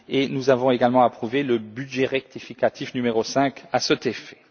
Nous avons également approuvé le budget rectificatif numéro 5 à cet effet.